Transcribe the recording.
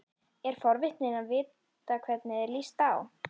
Er forvitin að vita hvernig þér líst á.